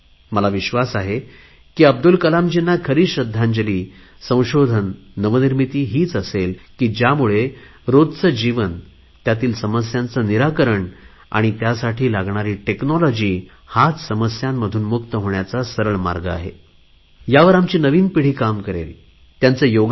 मला विश्वास आहे की अब्दुल कलामजीना खरी श्रध्दांजली संशोधन नवनिर्मिती हीच असेल की ज्यामुळे रोजचे जीवन त्यातील समस्यांचे निराकरण आणि त्यासाठी लागणारी टेक्नॉलॉजी हाच समस्यांतून मुक्त होण्याचा मला विश्वास आहे की अब्दुल कलामजीना खरी श्रध्दांजली संशोधन नवनिर्मिती हीच असेल की ज्यामुळे रोजचे जीवन त्यातील समस्यांचे निराकरण आणि त्यासाठी लागणारी टेक्नॉलॉजी हाच समस्यांतून मुक्त होण्याचा सरळ मार्ग आहे